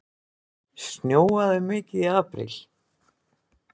Snjóaði mikið í apríl?